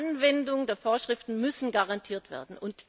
Und die Anwendung der Vorschriften muss garantiert werden.